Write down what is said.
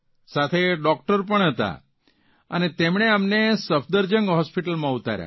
સાથે ડૉકટર પણ હતા અને તેમણે અમને સબદરજંગ હોસ્પીટલમાં ઉતાર્યા